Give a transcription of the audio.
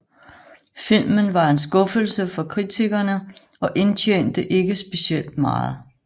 Filmen var en skuffelse for kritikkerne og indtjente ikke specielt meget